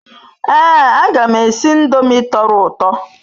Ee aga m esi ndomi toro uto